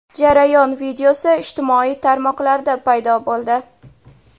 Jarayon videosi ijtimoiy tarmoqlarda paydo bo‘ldi.